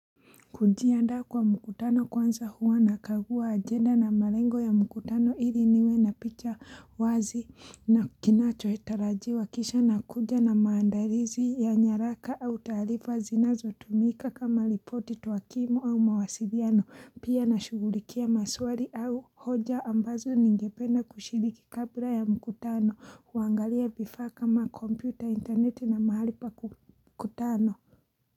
Kujiaanda kwa mkutano kwanza huwa nakagua ajenda na malengo ya mkutano ili niwe na picha wazi na kinacho tarajiwa kisha nakuja na maandalizi ya nyaraka au taarifa zinazotumika kama ripoti tuwakimu au mawasiliano pia na shughulikia maswali au hoja ambazo ningependa kushiriki kabla ya mkutano huangalia vifaa kama kompyuta interneti na mahali pa kukutana.